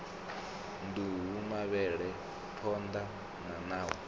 nduhu mavhele phonḓa na ṋawa